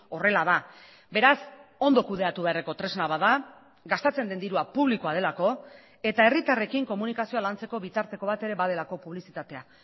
horrela da beraz ondo kudeatu beharreko tresna bat da gastatzen den dirua publikoa delako eta herritarrekin komunikazioa lantzeko bitarteko bat ere badelako publizitatea